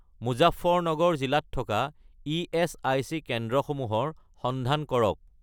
মুজাফৰনগৰ জিলাত থকা ইএচআইচি কেন্দ্ৰসমূহৰ সন্ধান কৰক